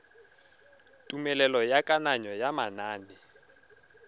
tumelelo ya kananyo ya manane